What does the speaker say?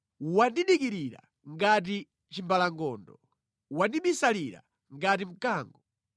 Wandidikirira ngati chimbalangondo, wandibisalira ngati mkango.